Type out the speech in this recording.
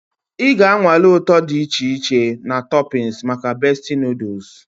Ị ga-anwale ụtọ dị iche iche na toppings maka Bestie noodles.